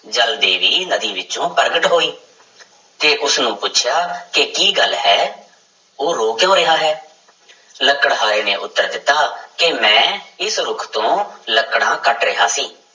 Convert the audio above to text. ਜਲ ਦੇਵੀ ਨਦੀ ਵਿੱਚੋਂ ਪ੍ਰਗਟ ਹੋਈ ਤੇ ਉਸਨੂੰ ਪੁੱਛਿਆ ਕਿ ਕੀ ਗੱਲ ਹੈ ਉਹ ਰੋ ਕਿਉਂ ਰਿਹਾ ਹੈ ਲੱਕੜਹਾਰੇ ਨੇ ਉੱਤਰ ਦਿੱਤਾ ਕਿ ਮੈਂ ਇਸ ਰੁੱਖ ਤੋਂ ਲੱਕੜਾਂ ਕੱਟ ਰਿਹਾ ਸੀ।